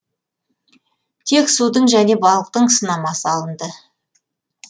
тек судың және балықтың сынамасы алынды